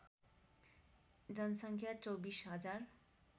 जनसङ्ख्या २४ हजार